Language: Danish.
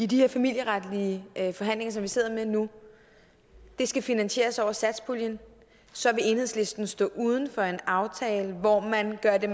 de her familieretlige forhandlinger som vi sidder med nu skal finansieres over satspuljen så vil enhedslisten stå uden for en aftale hvor man gør det